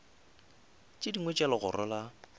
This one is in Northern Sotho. tše dingwe tša legoro la